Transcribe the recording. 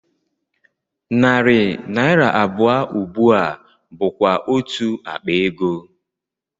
Narị naira abụọ ugbu a bụkwa otú akpa ego